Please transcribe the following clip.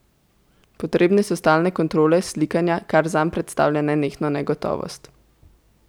Potrebne so stalne kontrole, slikanja, kar zanj predstavlja nenehno negotovost.